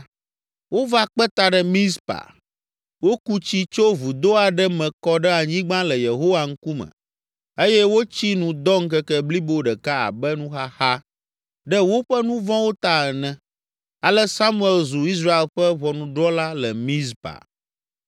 Wova kpe ta ɖe Mizpa, woku tsi tso vudo aɖe me kɔ ɖe anyigba le Yehowa ŋkume eye wotsi nu dɔ ŋkeke blibo ɖeka abe nuxaxa ɖe woƒe nu vɔ̃wo ta ene. Ale Samuel zu Israel ƒe ʋɔnudrɔ̃la le Mizpa.